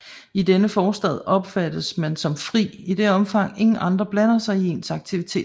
I denne forstand opfattes man som fri i det omfang ingen andre blander sig i ens aktiviteter